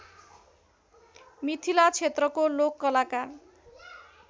मिथिला क्षेत्रको लोककलाका